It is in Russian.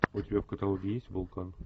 у тебя в каталоге есть вулкан